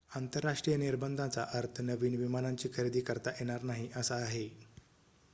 आंतरराष्ट्रीय निर्बंधांचा अर्थ नवीन विमानांची खरेदी करता येणार नाही असा आहे